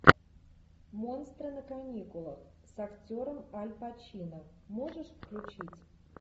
монстры на каникулах с актером аль пачино можешь включить